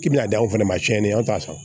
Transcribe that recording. K'i bina d'aw fɛnɛ ma cɛn t'a sɔrɔ